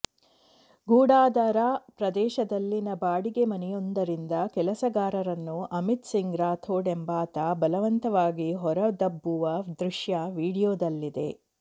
ಗೊಡಾದರಾ ಪ್ರದೇಶದಲ್ಲಿನ ಬಾಡಿಗೆ ಮನೆಯೊಂದರಿಂದ ಕೆಲಸಗಾರರನ್ನು ಅಮಿತ್ ಸಿಂಗ್ ರಾಥೋಡ್ ಎಂಬಾತ ಬಲವಂತವಾಗಿ ಹೊರದಬ್ಬುವ ದೃಶ್ಯ ವೀಡಿಯೊದಲ್ಲಿದೆ